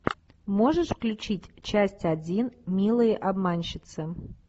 можешь включить часть один милые обманщицы